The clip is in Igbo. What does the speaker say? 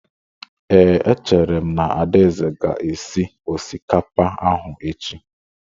Ee, echere m na Adaeze ga-esi osikapa ahụ echi.